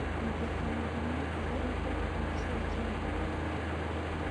Kũingata mĩrimũ iga ũtheru na gũcenjania mĩmera .